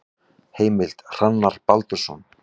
Heimild: Hrannar Baldursson.